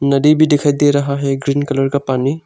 नदी भी दिखाई दे रहा है ग्रीन कलर का पानी।